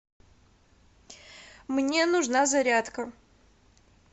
мне нужна зарядка